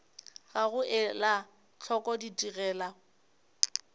ga go ela hloko ditigelo